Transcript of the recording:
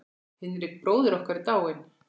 Hinrik bróðir okkar er dáinn.